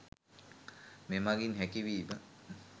මෙමඟින් හැකි වීම